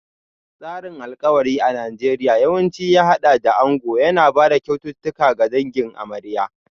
Tsarin alkawari a Najeriya yawanci ya haɗa da ango yana ba da kyaututtuka ga dangin amarya.